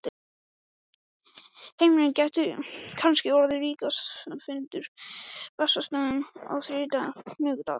Heimir: Gæti kannski orðið ríkisráðsfundur á Bessastöðum á þriðjudag, miðvikudag?